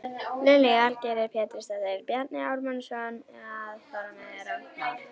Lillý Valgerður Pétursdóttir: Bjarni Ármannsson að fara með rangt mál?